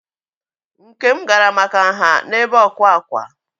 Nkem gara maka nha n'ebe ọkwà ákwá.